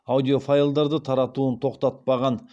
аудиофайлдарды таратуын тоқтатпаған